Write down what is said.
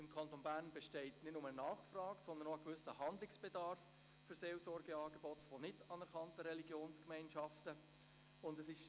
Im Kanton Bern besteht nicht nur Nachfrage nach Seelsorgeangeboten nicht anerkannter Religionsgemeinschaften, sondern auch ein gewisser Handlungsbedarf.